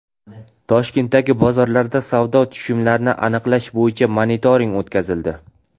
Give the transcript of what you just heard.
Toshkentdagi bozorlarda savdo tushumlarini aniqlash bo‘yicha monitoring o‘tkazildi.